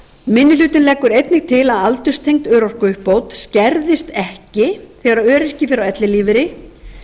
minni hlutinn leggur einnig til að aldurstengd örorkuuppbót skerðist ekki þegar öryrki fer á ellilífeyri